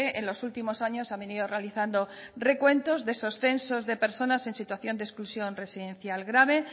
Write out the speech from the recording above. en los últimos años ha venido realizando recuentos de esos censos de personas en situación de exclusión residencial grave